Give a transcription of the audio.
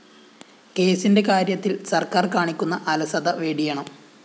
കേസിന്റെ കാര്യത്തില്‍ സര്‍ക്കാര്‍ കാണിക്കുന്ന അലസത വെടിയണം